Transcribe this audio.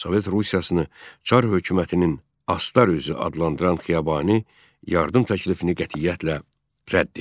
Sovet Rusiyasını çar hökumətinin "Astar üzü" adlandıran Xiyabani yardım təklifini qətiyyətlə rədd etdi.